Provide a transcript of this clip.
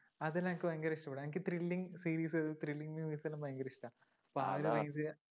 അതെല്ലാം എനിക്ക് ഭയങ്കര ഇഷ്ടപ്പെട്ടു എനിക്ക് thrilling series thrilling movies എല്ലാം ഭയങ്കര ഇഷ്ടാ. അപ്പൊ ആ ഒരു രീതിയാ